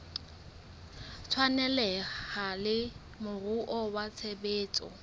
tshwaneleha le moruo wa tshebetso